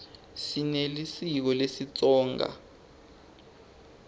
sinelisiko lesitsonga